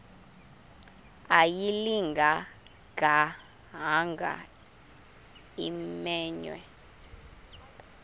ayilinga gaahanga imenywe